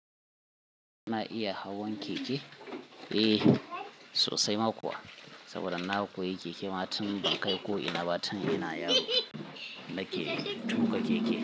Ana iya hawan keke? Eh sosai ma kuwa. Saboda na koyi keke ma tun ban kai ko ina ba. Tun ina yaro, nake tuka keke.